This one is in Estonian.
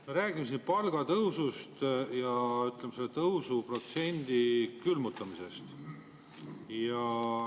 Me räägime siin palgatõusust ja, ütleme, selle tõusuprotsendi külmutamisest.